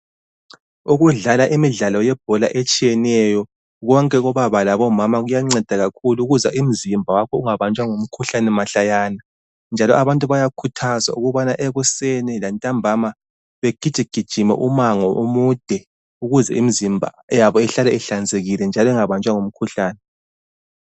Ukudlala imidlalo yebhola etshiyeneyo konke kubaba labo mama kuyanceda kakhulu umzimba wakho ungabanjwa ngumkhuhlane mahlayana njalo abantu bayakhuthazwa ukubana ekuseni lantambana bagiji gijime umango omude ukuze imzimba yabo ihlale ihlanzekile njalo ingabanjwa ngumkhuhlane.